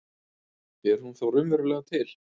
Er hún þá raunverulega til?